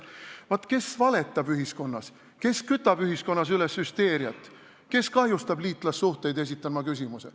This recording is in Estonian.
Vaat, kes valetab ühiskonnas, kes kütab ühiskonnas üles hüsteeriat, kes kahjustab liitlassuhteid, esitan ma küsimuse.